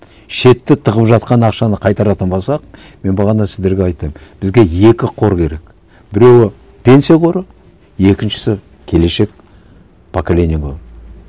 шетте тығып жатқан ақшаны қайтаратын болсақ мен бағана сіздерге айттым бізге екі қор керек біреуі пенсия қоры екіншісі келешек поколениені